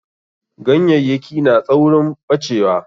Ganyayyaki na tsaurin ɓacewa.